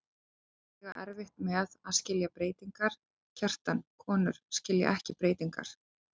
Konur eiga erfitt með að skilja breytingar, Kjartan, konur skilja ekki breytingar.